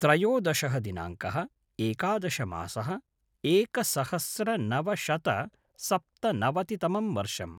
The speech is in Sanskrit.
त्रयोदशः दिनाङ्कः - एकादशः मासः - एकसहस्रनवशतसप्तनवतितमं वर्षम्